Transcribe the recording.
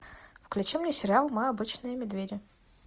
включи мне сериал мы обычные медведи